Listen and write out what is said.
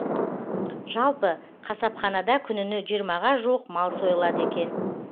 жалпы қасапханада күніне жиырмаға жуық мал сойлады екен